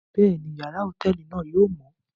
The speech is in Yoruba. Bẹẹni, yàrá hotẹẹli náà yóò mọ